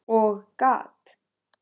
Og gat